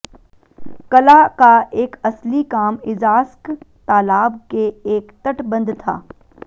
कला का एक असली काम इज़ास्क तालाब के एक तटबंध था